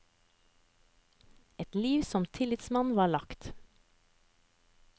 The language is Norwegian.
Et liv som tillitsmann var lagt.